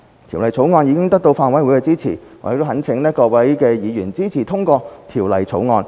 《條例草案》已得到法案委員會的支持，我懇請各位議員支持通過《條例草案》。